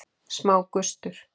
Smá gustur.